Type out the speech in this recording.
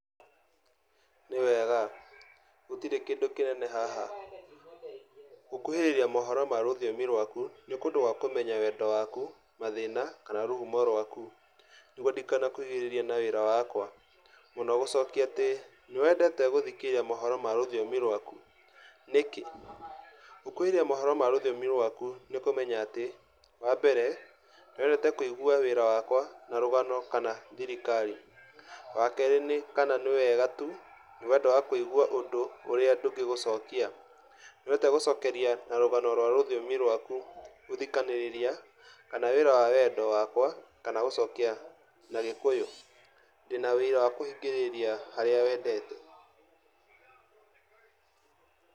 Nĩwega, gũtirĩ kĩndũ kĩnene haha, gũkuhĩrĩria mohoro ma rũthiomi rwaku nĩ kũndũ gwa kũmenya wendo waku, mathĩna, kana rũhumo rwaku, nĩguo ndikanakugirĩrĩrie na wĩra wakwa, mũno gũcokia atĩ; nĩwendete gũthikĩrĩria mohoro ma rũthiomi rwaku? Nikĩ? Gukuhĩrĩria mohoro ma rũthiomi rwaku nikũmenya atĩ wambere, nĩwendete kũigua wĩra wakwa na rũgano kana thirikari, wakerĩ nĩ kana nĩ wega tu nĩ wendo wa kũigua ũndũ ũria ndũngĩgũcokia, nĩwendete gũcokeria na rũgano rwa rũthiomi rwaku gũthikanĩrĩria, kana wĩra wa wendo wakwa kana gũcokia na gĩkũyũ, ndĩna wĩira wa kũhingĩrĩria harĩa wendete.